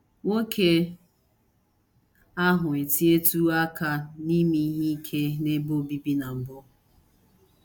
Nwoke ahụ etinyetụwo aka n’ime ihe ike n’ebe obibi na mbụ.